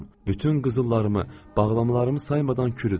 Bütün qızıllarımı, bağlamalarımı saymadan kürüdüm.